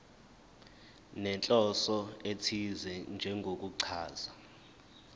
nenhloso ethize njengokuchaza